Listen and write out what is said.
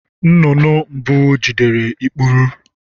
Nnụnụ mbụ jidere ikpuru.